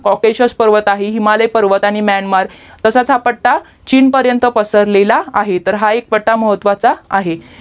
official पर्वत आहे हिमालय पर्वत आणि म्यानमार तसाच हा पट्टा चीन पर्यन्त पसरलेला आहे तर हा एक पट्टा महत्वाचा आहे